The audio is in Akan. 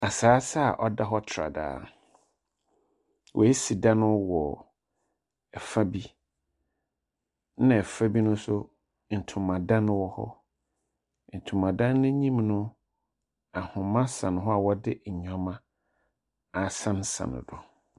Asase a ɔda hɔ tradaa. Woesi dan wɔ fa bi, ɛnna fa bi no so, ntomadan wɔ hɔ. Ntomadan no enyim no, ahoma sɛn hɔ a wɔde nneɛma asensɛn do.